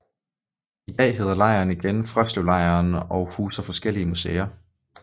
I dag hedder lejren igen Frøslevlejren og huser forskellige museer